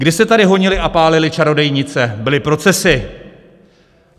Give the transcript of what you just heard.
Kdy se tady honily a pálily čarodějnice, byly procesy.